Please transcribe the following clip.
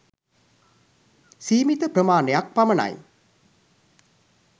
සීමිත ප්‍රමාණයක් පමණයි.